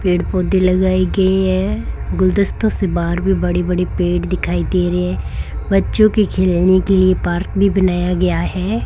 पेड़ पौधे लगाई गए हैं गुलदस्तों से बाहर भी बड़ी बड़ी पेड़ दिखाई दे रहे हैं बच्चों के खेलने के लिए पार्क भी बनाया गया है।